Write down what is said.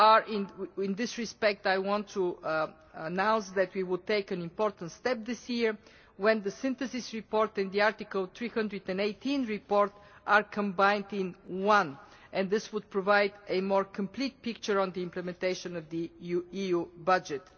In this respect, I want to announce that we will take an important step this year when the synthesis report in the Article 318 report are combined in one, and this would provide a more complete picture on the implementation of the EU budget.